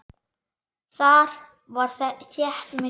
Þar var þétt myrkur.